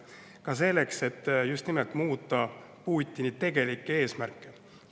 Ka selleks, et muuta Putini tegelikke eesmärke.